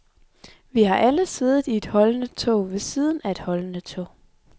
Vi har alle siddet i et holdende tog ved siden af et holdende tog.